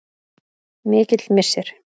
Mikill missir.